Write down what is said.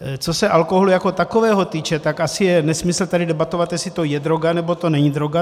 Co se alkoholu jako takového týče, tak asi je nesmysl tady debatovat, jestli to je droga, nebo to není droga.